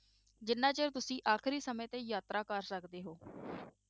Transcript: ਜਿੰਨਾਂ ਚੋਂ ਤੁਸੀਂ ਆਖ਼ਰੀ ਸਮੇਂ ਤੇ ਯਾਤਰਾ ਕਰ ਸਕਦੇ ਹੋ